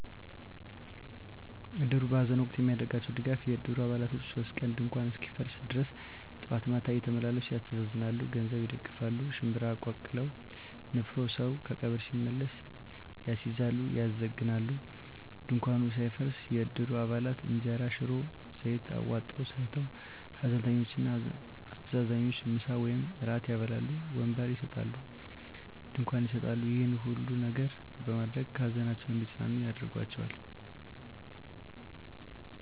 እድሩ በሐዘን ወቅት የሚያደርገዉ ድጋፍ የእድሩ አባላቶች 3 ቀን ድንኳኑ እስኪፈርስ ድረስ ጠዋት ማታ እየተመላለሱ ያስተዛዝናሉ። ገንዘብ ይደግፋል፣ ሽንብራ ቀቅለዉ (ንፍሮ) ሰዉ ከቀብር ሲመለስ ያስይዛሉ(ያዘግናሉ) ፣ ድንኳኑ ሳይፈርስ የእድሩ አባላት እንጀራ፣ ሽሮ፣ ዘይት አዋጠዉ ሰርተዉ ሀዘንተኞችን እና አስተዛዛኞችን ምሳ ወይም እራት ያበላሉ። ወንበር ይሰጣሉ፣ ድንኳን ይሰጣሉ ይሄን ሁሉ ነገር በማድረግ ከሀዘናቸዉ እንዲፅናኑ ያደርጓቸዋል።